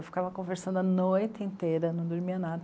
Eu ficava conversando a noite inteira, não dormia nada.